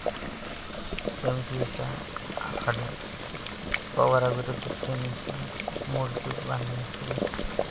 एमसीएच्या आखाड्यात पवारांविरोधात सेनेची मोर्चेबांधणी सुरू